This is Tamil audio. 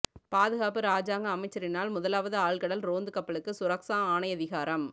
பாதுகாப்பு இராஜாங்க அமைச்சரினால் முதலாவது ஆழ்கடல் ரோந்து கப்பலுக்கு சுரக்ஸா ஆணையதிகாரம்